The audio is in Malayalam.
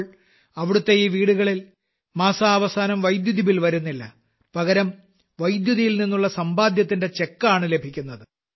ഇപ്പോൾ അവിടത്തെ ഈ വീടുകളിൽ മാസാവസാനം വൈദ്യുതിബിൽ വരുന്നില്ല പകരം വൈദ്യുതിയിൽ നിന്നുള്ള സമ്പാദ്യത്തിന്റെ ചെക്കാണ് ലഭിക്കുന്നത്